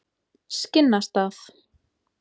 Skinnastað